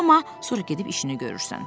Amma sonra gedib işini görürsən.”